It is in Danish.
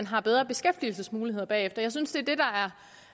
har bedre beskæftigelsesmuligheder bagefter jeg synes